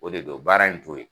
O de don baara in t'o yen.